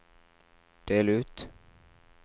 del ut